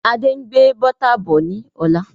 Adé ń gbé Bọ́tà bọ̀ ni ọ̀la.